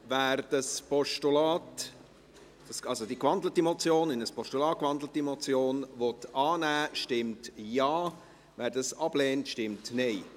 Wer diese in ein Postulat gewandelte Motion annehmen will, stimmt Ja, wer dies ablehnt, stimmt Nein.